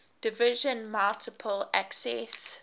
division multiple access